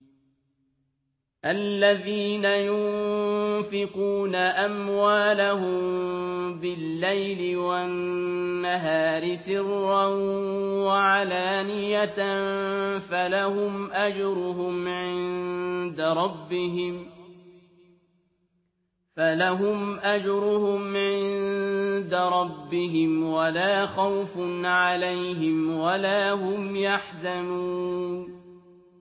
الَّذِينَ يُنفِقُونَ أَمْوَالَهُم بِاللَّيْلِ وَالنَّهَارِ سِرًّا وَعَلَانِيَةً فَلَهُمْ أَجْرُهُمْ عِندَ رَبِّهِمْ وَلَا خَوْفٌ عَلَيْهِمْ وَلَا هُمْ يَحْزَنُونَ